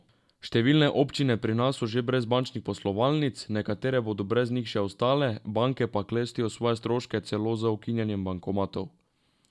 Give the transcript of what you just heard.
Številne občine pri nas so že brez bančnih poslovalnic, nekatere bodo brez njih še ostale, banke pa klestijo svoje stroške celo z ukinjanjem bankomatov.